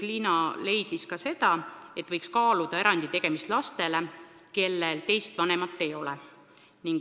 Liina leidis ka seda, et võiks kaaluda erandi tegemist lastele, kellel teist vanemat ei ole.